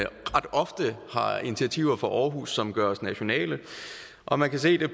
ofte har initiativer fra aarhus som gøres nationale og man kan se det